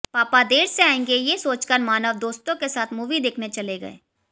पापा देर से आएंगे ये सोचकर मानव दोस्तों के साथ मूवी देखने चले गए